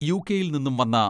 യു.കെ.യിൽ നിന്നും വന്ന